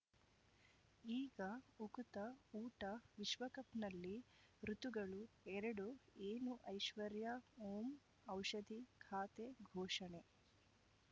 ಈಗ ಉಕುತ ಊಟ ವಿಶ್ವಕಪ್‌ನಲ್ಲಿ ಋತುಗಳು ಎರಡು ಏನು ಐಶ್ವರ್ಯಾ ಓಂ ಔಷಧಿ ಖಾತೆ ಘೋಷಣೆ